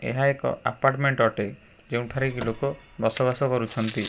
ଏହା ଏକ ଆପାର୍ଟମେଣ୍ଟ ଅଟେ ଯେଉଁଠାରେ କି ଲୋକ ବସବାସ କରୁଛନ୍ତି।